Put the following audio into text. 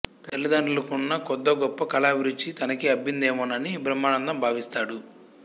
తల్లిదండ్రులకున్న కొద్దో గొప్పో కళాభిరుచి తనకీ అబ్బిందేమోనని బ్రహ్మానందం భావిస్తాడు